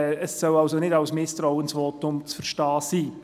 Das soll nicht als Misstrauensvotum zu verstehen sein.